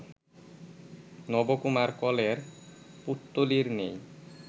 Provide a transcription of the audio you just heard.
নবকুমার কলের পুত্তলীর ন্যায়